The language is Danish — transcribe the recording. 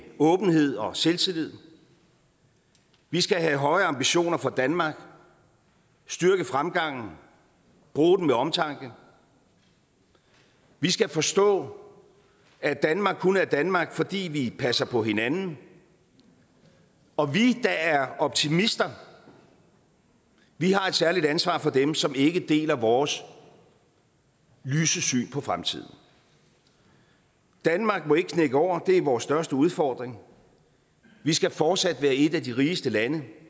åbenhed og selvtillid vi skal have høje ambitioner for danmark styrke fremgangen og bruge den med omtanke vi skal forstå at danmark kun er danmark fordi vi passer på hinanden og vi der er optimister har et særligt ansvar for dem som ikke deler vores lyse syn på fremtiden danmark må ikke knække over det er vores største udfordring vi skal fortsat være et af de rigeste lande